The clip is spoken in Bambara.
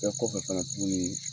O Bɛɛ kɔfɛ fɛnɛ tuguni